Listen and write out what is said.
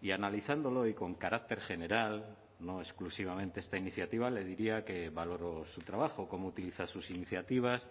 y analizándolo y con carácter general no exclusivamente esta iniciativa le diría que valoro su trabajo cómo utiliza sus iniciativas